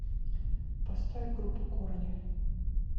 поставь группу корни